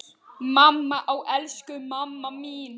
Mamma, ó elsku mamma mín.